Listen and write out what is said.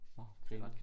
Nå grineren